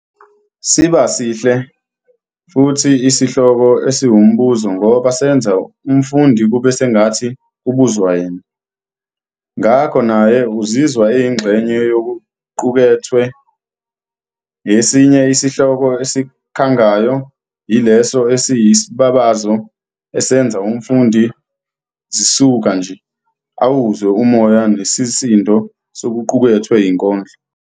Siba sihle futhi isihloko esiwumbuzo ngoba senza umfundi kube sengathi kubuzwa yena, ngakho naye uzizwa eyingxenye yokuqukethwe. Esinye isihloko esikhangayo yileso esiyisibabazo esenza umfundi zisuka nje awuzwe umoya nesisindo sokuqukethwe yinkondlo.